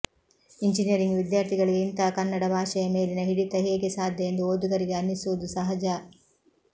engineering ವಿಧ್ಯಾರ್ಥಿಗಳಿಗೆ ಇಂತಹ ಕನ್ನಡ ಭಾಷೆಯ ಮೇಲಿನ ಹಿಡಿತ ಹೇಗೆ ಸಾಧ್ಯ ಎಂದು ಓದುಗರಿಗೆ ಅನ್ನಿಸುವುದು ಸಹಜ